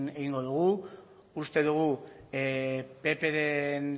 egingo dugu uste dugu ppren